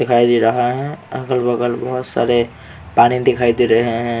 दिखाई दे रहा है अगल बग़ल बहुत सारे पानी दिखाई दे रहे हैं।